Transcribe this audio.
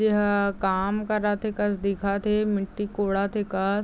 यहाँ काम करत हे कस दिखत हे मिट्टी कोडत हे कस--